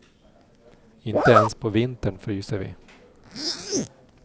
Inte ens på vintern fryser vi.